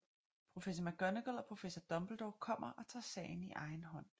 Professor McGonagall og Professor Dumbledore kommer og tager sagen i egen hånd